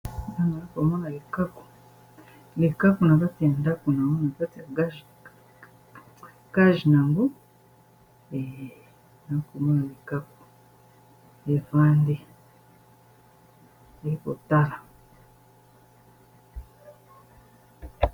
ano a komona likaku likaku na bati ya ndako nango na kati ya gaje nangu eaya komona likako efandi ekotala